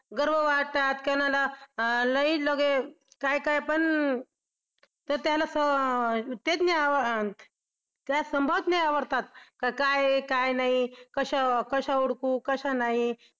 गर्व वाटतं कोणाला लई लगे काय काय पण आवडतात काय आहे काय नाही कशा हुडकू कशा नाही.